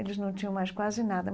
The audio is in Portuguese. Eles não tinham mais quase nada.